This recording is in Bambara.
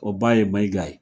O baa ye Mayiga ye.